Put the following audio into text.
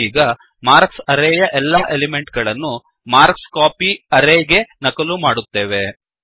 ನಾವೀಗ marks array ಯ ಎಲ್ಲಾ ಎಲಿಮೆಂಟ್ ಗಳನ್ನೂ ಮಾರ್ಕ್ಸ್ಕೋಪಿ ಅರೇಗೆ ನಕಲು ಮಾಡುತ್ತೇವೆ